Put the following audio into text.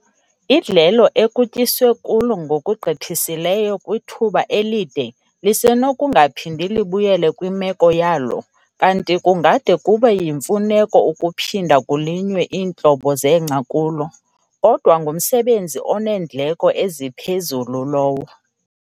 Idlelo ekutyiswe kulo ngokugqithisileyo kwithuba elide lisenokungaphindi libuyele kwimeko yalo kanti kungade kube yimfuneko ukuphinda kulinywe iintlobo zengca kulo, kodwa ngumsebenzi oneendleko eziphezulu lowo.